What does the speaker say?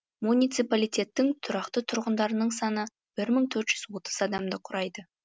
муниципалитеттің тұрақты тұрғындарының саны бір мың төрт жүз отыз адамды құрайды